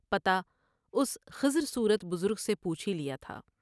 پتہ اس خضر صورت بزرگ سے پوچھ ہی لیا تھا ۔